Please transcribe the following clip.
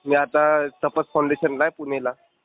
मी आता तपस फाऊंडेशनला आहे पुणेला.